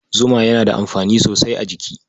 Zuma yana da amfani sosai a jiki.